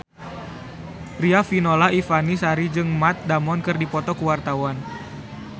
Riafinola Ifani Sari jeung Matt Damon keur dipoto ku wartawan